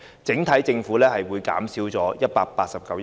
政府整體收入會減少189億元。